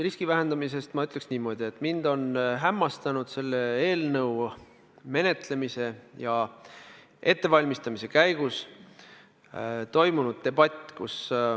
Riski vähendamise kohta ma ütleks niimoodi, et mind on hämmastanud selle eelnõu menetlemise ja ettevalmistamise käigus toimunud debatt.